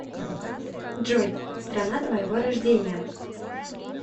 джой страна твоего рождения